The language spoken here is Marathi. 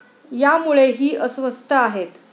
यामुळे ही अस्वस्थ आहेत.